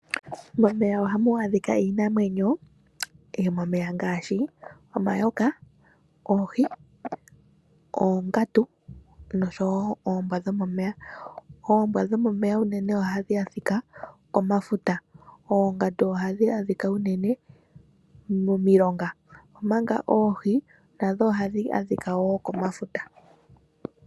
Momeya ohamu adhika iinamwenyo yomomeya ngaashi omayoka, oohi, oongandu, nosho wo oombwa dhomomeya. Oombwa dhomomeya unene ohadhi adhika komafuta. Oongandu ohadhi adhika unene momilonga, omanga oohi nadho ohadhi adhika wo komafuta.